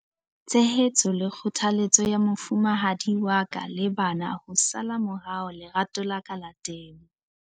Tshehetso le kgothaletso ya mofumahadi wa ka le bana ho sala morao lerato la ka la temo.